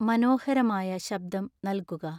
മനോഹരമായ ശബ്ദം നൽകുക